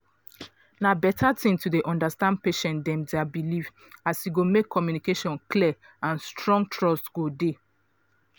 na beta thing to dey understand patient dem dia belief as e go make communication clear and strong trust go dey.